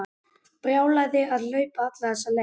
Brjálæði að hlaupa alla þessa leið.